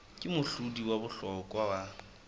ke mohlodi wa bohlokwa wa